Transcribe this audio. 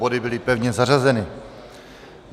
Body byly pevně zařazeny.